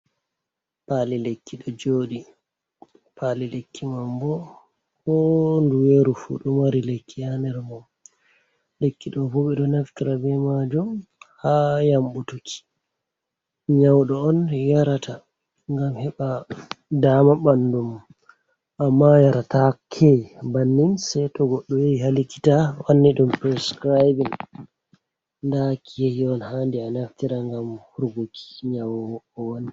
Pali lekki ɗojoɗi, Pali lekki mam bo ko nduweru fu do mari lekki hader mom, lekkido bobe do naftira be majum ha yambutuki nyaudo on yarata gam heɓa dama bandumo amma yarataki bannin saiton goɗɗo yahi ha likiata wanninɗ priscribing da kiyehi hadi anaftira ngam hurguki nyaowani.